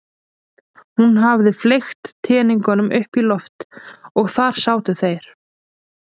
Hún hafði fleygt teningunum upp í loft og þar sátu þeir.